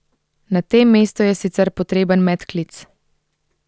Na tem mestu je sicer potreben medklic.